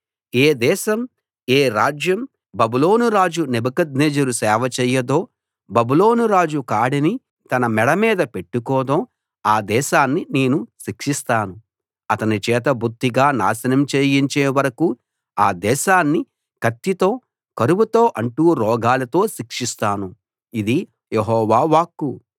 ఏ దేశం ఏ రాజ్యం బబులోను రాజు నెబుకద్నెజరు సేవ చేయదో బబులోను రాజు కాడిని తన మెడ మీద పెట్టుకోదో ఆ దేశాన్ని నేను శిక్షిస్తాను అతని చేత బొత్తిగా నాశనం చేయించే వరకూ ఆ దేశాన్ని కత్తితో కరువుతో అంటు రోగాలతో శిక్షిస్తాను ఇది యెహోవా వాక్కు